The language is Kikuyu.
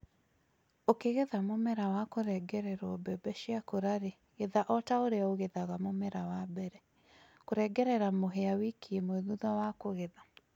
ũkĩgetha mũmera wa kũrengererwo mbembe ciakũra rĩ, getha otaũrĩa ũgethaga mũmera wa mbere. Kũrengerera mũhĩa wiki ĩmwe thutha wa kũgetha